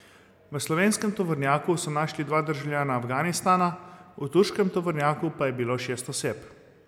V slovenskem tovornjaku so našli dva državljana Afganistana, v turškem tovornjaku pa je bilo šest oseb.